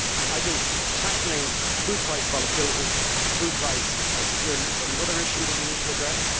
I think tackling food price volatility and food price security is another issue that we need to address.